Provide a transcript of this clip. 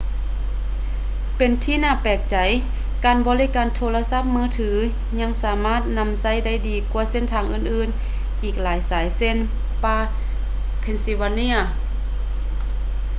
ເປັນທີ່ໜ້າແປກໃຈ ການບໍລິການໂທລະສັບມືຖືຍັງສາມາດນຳໃຊ້ໄດ້ດີກວ່າເສັ້ນທາງອື່ນໆອີກຫຼາຍສາຍເຊັ່ນ ປ່າ pennsylvania